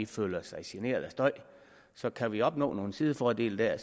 føler sig generet af støj så kan vi opnå nogle sidefordele der